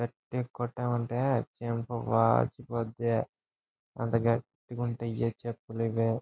గట్టిగ కొట్టావంటే చంప వాచిపోద్ది. అంత గట్టిగా ఉంటాయి ఆ చెప్పులు ఇవి.